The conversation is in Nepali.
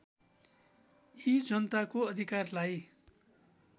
यी जनताको अधिकारलाई